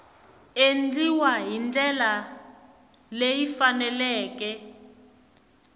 endliwa hi ndlela leyi faneleke